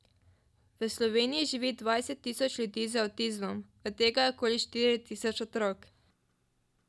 V Sloveniji živi dvajset tisoč ljudi z avtizmom, od tega je okoli štiri tisoč otrok.